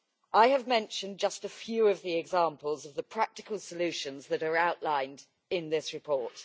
I have mentioned just a few of the examples of the practical solutions that are outlined in this report.